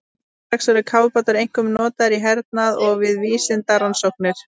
Nú til dags eru kafbátar einkum notaðir í hernaði og við vísindarannsóknir.